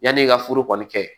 Yan'i ka foro kɔni kɛ